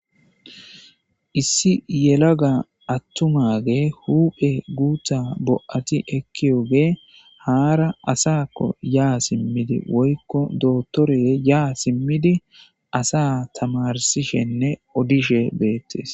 issi yelaga attumage huphe guutha bo7ati ekkiyoge haara asakko yaa simmidi woykko dotore yaa simmidi asa tamarsishenne odishe beettes